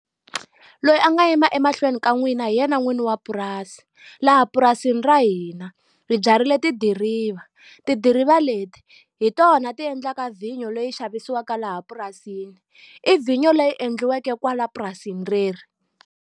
Loyi a nga yima emahlweni ka n'wina hi yena n'wini wa purasi. Laha purasini ra hina ri byarile tidiriva. Tidiriva leti hi tona ti endlaka vhinyo leyi xavisiwaka laha purasini. I vhinyo leyi endliweke kwala purasini reri.